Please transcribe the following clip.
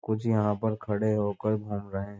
कुछ यहाँ पर खड़े होकर घूम रहे।